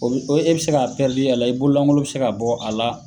Ɔ E bɛ se ka' a la , i bololankolon bɛ se ka bɔ a la.